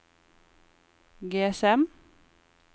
GSM